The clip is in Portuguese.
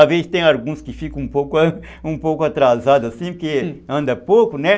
Às vezes tem alguns que ficam um pouco atrasados, assim, porque anda pouco, né?